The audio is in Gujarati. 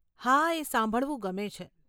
હા, એ સાંભળવું ગમે છે.